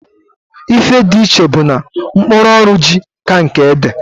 Ife di iche bu na mkpụrụ ọrụ ji ka nke ede.